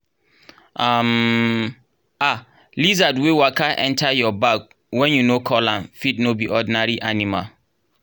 um um lizard wey waka enter your bag when you no call am fit no be ordinary animal